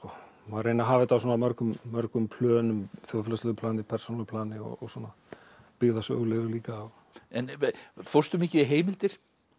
reyna að hafa þetta á mörgum mörgum plönum þjóðfélagslegu plani persónulegu plani og svona byggða á sögulegu líka en fórstu mikið í heimildir